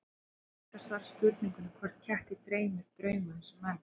Það er erfitt að svara spurningunni hvort ketti dreymi drauma eins og menn.